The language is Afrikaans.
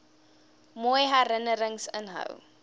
mooi herinnerings inhou